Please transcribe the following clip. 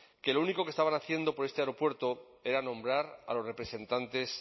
que lo único que estaban haciendo para este aeropuerto era nombrar a los representantes